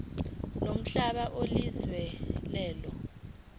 yomhlaba onikezwe lelo